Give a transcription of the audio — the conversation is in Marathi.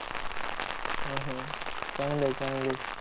हा, हा. चांगलं आहे, चांगलं आहे.